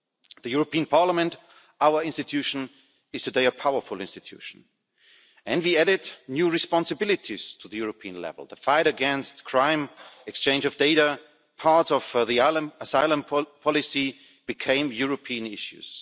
The European Parliament, our institution, is today a powerful institution, and we added new responsibilities to the European level. The fight against crime, exchange of data, parts of the asylum policy became European issues.